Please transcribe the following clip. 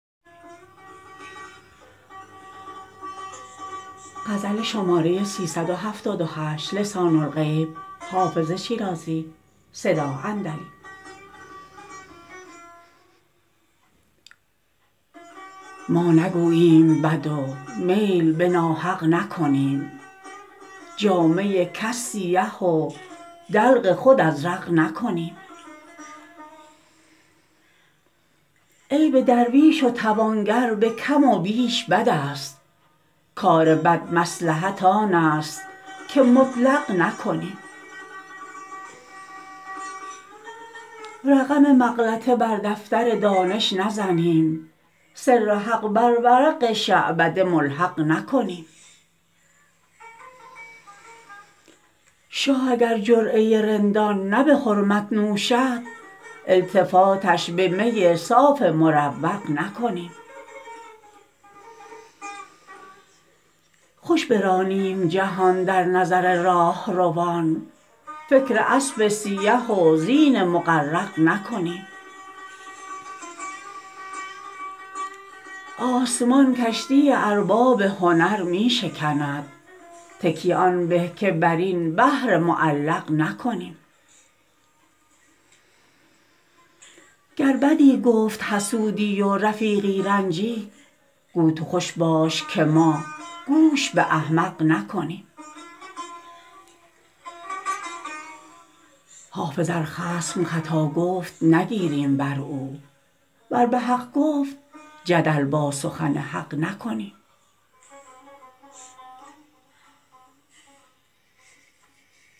ما نگوییم بد و میل به ناحق نکنیم جامه کس سیه و دلق خود ازرق نکنیم عیب درویش و توانگر به کم و بیش بد است کار بد مصلحت آن است که مطلق نکنیم رقم مغلطه بر دفتر دانش نزنیم سر حق بر ورق شعبده ملحق نکنیم شاه اگر جرعه رندان نه به حرمت نوشد التفاتش به می صاف مروق نکنیم خوش برانیم جهان در نظر راهروان فکر اسب سیه و زین مغرق نکنیم آسمان کشتی ارباب هنر می شکند تکیه آن به که بر این بحر معلق نکنیم گر بدی گفت حسودی و رفیقی رنجید گو تو خوش باش که ما گوش به احمق نکنیم حافظ ار خصم خطا گفت نگیریم بر او ور به حق گفت جدل با سخن حق نکنیم